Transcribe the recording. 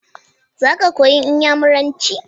Za ka koyi iyamiranci?